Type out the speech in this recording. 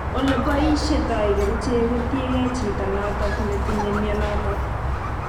Ole boisheitoi kerichek kotiegei chito notok netinyei mionotok